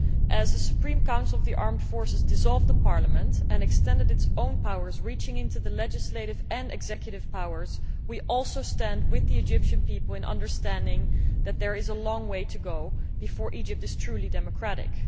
As the Supreme Council of the Armed Forces dissolved the Parliament and extended its own powers reaching into the sphere of legislative and executive powers we also stand with the Egyptian people in understanding that there is a long way to go before Egypt is truly democratic.